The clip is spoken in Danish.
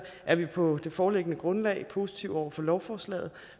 er vi på det foreliggende grundlag positive over for lovforslaget